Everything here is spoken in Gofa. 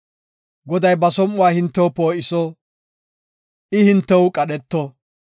Goday ba som7uwa hintew poo7iso; I hintew qadheto;